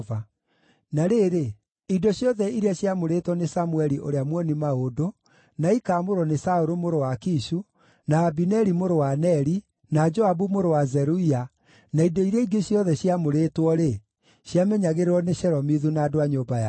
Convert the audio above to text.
Na rĩrĩ, indo ciothe iria ciaamũrĩtwo nĩ Samũeli ũrĩa muoni-maũndũ, na ikaamũrwo nĩ Saũlũ mũrũ wa Kishu, na Abineri mũrũ wa Neri, na Joabu mũrũ wa Zeruia, na indo iria ingĩ ciothe ciaamũrĩtwo-rĩ, ciamenyagĩrĩrwo nĩ Shelomithu na andũ a nyũmba yao.